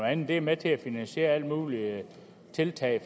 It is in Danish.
andet det er med til at finansiere alle mulige tiltag